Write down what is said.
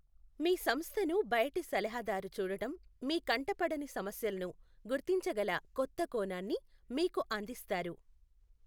మీ సంస్థను బయటి సలహాదారు చూడటం మీ కంటపడని సమస్యలను గుర్తించగల కొత్త కోణాన్ని మీకు అందిస్తారు.